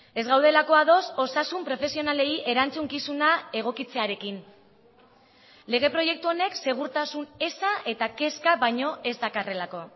ez gaudelako ados osasun profesionalei erantzukizuna egokitzearekin lege proiektu honek segurtasun eza eta kezka baino ez dakarrelako